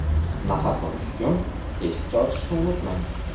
Nafas olish uchun teshikcha ochishni unutmang.